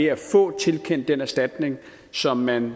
at få tilkendt den erstatning som man